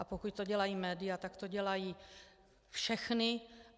A pokud to dělají média, tak to dělají všechna.